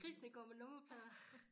Grisene går med nummerplader